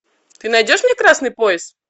ты найдешь мне красный пояс